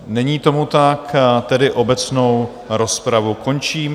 Není tomu tak, tedy obecnou rozpravu končím.